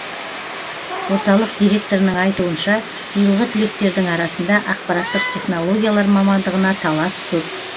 орталық директорының айтуынша биылғы түлектердің арасында ақпараттық технологиялар мамандығына талас көп